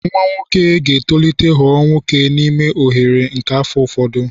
Nwa nwoke ga-etolite ghọọ nwoke n'ime oghere nke afọ ụfọdụ